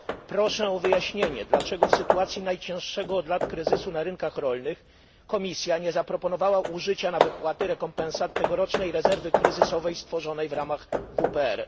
Proszę o wyjaśnienie, dlaczego w sytuacji najcięższego od lat kryzysu na rynkach rolnych Komisja nie zaproponowała użycia na wypłaty rekompensat tegorocznej rezerwy kryzysowej stworzonej w ramach WPR.